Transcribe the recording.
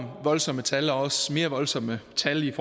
voldsomme tal og også mere voldsomme tal i